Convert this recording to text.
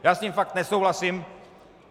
Já s tím fakt nesouhlasím.